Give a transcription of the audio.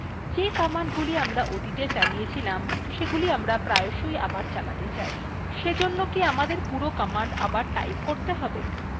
যে commandগুলি আমরা অতীতে চালিয়েছিলাম সেগুলি আমরা প্রায়শই আবার চালাতে চাই সেজন্য কি আমাদের পুরো command আবার type করতে have